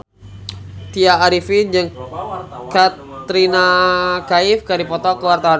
Tya Arifin jeung Katrina Kaif keur dipoto ku wartawan